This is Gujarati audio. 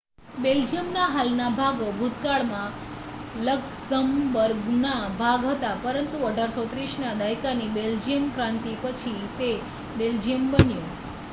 બેલ્જિયમના હાલના ભાગો ભૂતકાળમાં લક્ઝમબર્ગના ભાગ હતા પરંતુ 1830ના દાયકાની બેલ્જિયમક્રાંતિ પછી તે બેલ્જિયમ બન્યું